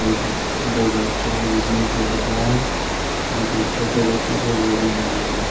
एक दो बच्चा है जिसमें एक लड़का है जो कि छोटे बच्चों को गोदी में लिया हुआ।